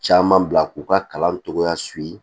Caman bila k'u ka kalan cogoya